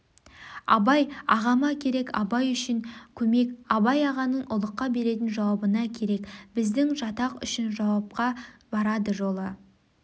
абай ағама керек абай үшін көмек абай ағаның ұлыққа беретін жауабына керек біздің жатақ үшін жауапқа барады жолы